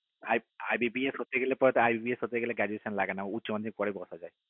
IBPS হতে গেলে IBPS হতে গেলে graduation লাগে না উচ্চ মাধ্যমিকের পরে বসা যায়